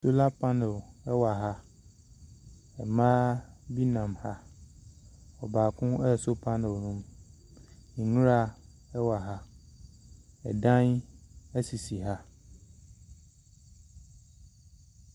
Solar pannel wɔ ha. Mmaa bi nam ha, baako asɔ pannel no mu. Nwura wɔ ha, dan sisi ha.